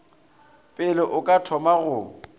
pele o ka thoma go